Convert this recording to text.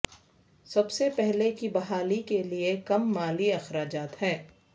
سب سے پہلے کی بحالی کے لئے کم مالی اخراجات ہے